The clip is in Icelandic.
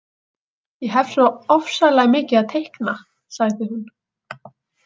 Ég hef svo ofsalega mikið að teikna, sagði hún.